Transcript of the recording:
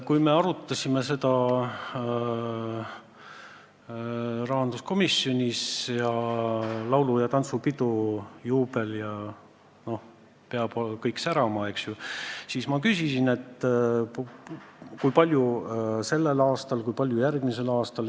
Kui me arutasime seda rahanduskomisjonis – laulu- ja tantsupidu, juubel ja kõik peab särama –, siis ma küsisin, kui palju raha on sellel aastal, kui palju järgmisel aastal.